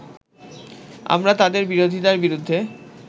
আমরা তাদের বিরোধীতার বিরুদ্ধে